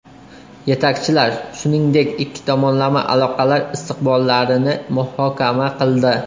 Yetakchilar, shuningdek, ikki tomonlama aloqalar istiqbollarini muhokama qildi.